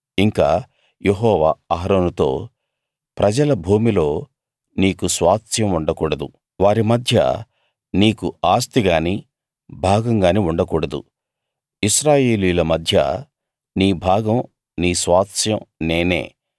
ఇంకా యెహోవా అహరోనుతో ప్రజల భూమిలో నీకు స్వాస్థ్యం ఉండకూడదు వారి మధ్య నీకు ఆస్తిగాని భాగం గాని ఉండకూడదు ఇశ్రాయేలీయుల మధ్య నీ భాగం నీ స్వాస్థ్యం నేనే